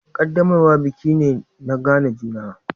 Ƙaddamarwa biki me na gane juna.